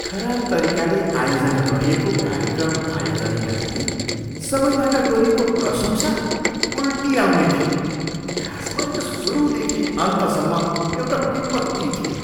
खराब तरिकाले आयोजना गरिएको कार्यक्रम आयोजनीका लागि सबैबाट गरिएको प्रशंसा उल्टी आउने थियो, खासमा यो सुरुदेखि अन्तसम्म एउटा विपत्ति थियो।